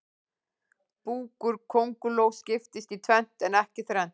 Búkur kóngulóa skiptist í tvennt en ekki þrennt.